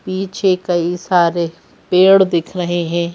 पीछे कई सारे पेड़ दिख रहे हैं ।